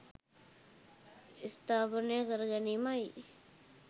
ස්ථාපනය කර ගැනීමයි